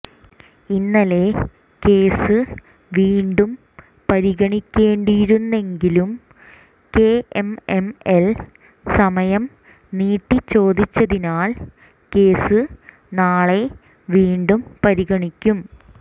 ഇന്നലെ കേസ് വീണ്ടും പരിഗണിക്കേണ്ടിയിരുന്നെങ്കിലും കെഎംഎംഎൽ സമയം നീട്ടി ചോദിച്ചതിനാൽ കേസ് നാളെ വീണ്ടും പരിഗണിക്കും